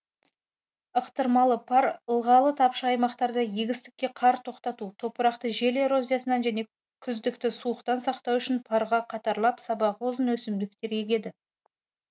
ықтырмалы пар ылғалы тапшы аймақтарда егістікке қар тоқтату топырақты жел эрозиясынан және күздікті суықтан сақтау үшін парға қатарлап сабағы ұзын өсімдіктер егеді